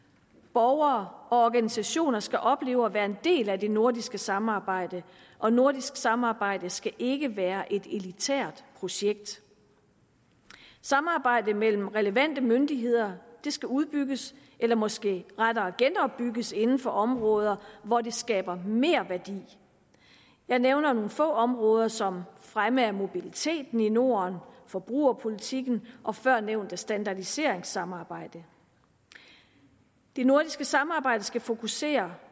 borgere og organisationer skal opleve at være en del af det nordiske samarbejde og nordisk samarbejde skal ikke være et elitært projekt samarbejde mellem relevante myndigheder skal udbygges eller måske rettere genopbygges inden for områder hvor det skaber merværdi jeg nævner nogle få områder som fremme af mobiliteten i norden forbrugerpolitikken og førnævnte standardiseringssamarbejde det nordiske samarbejde skal fokusere